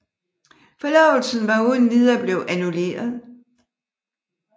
Forlovelsen var uden videre blevet annulleret